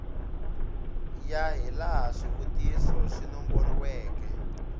ya hilaha swivutiso swi nomboriweke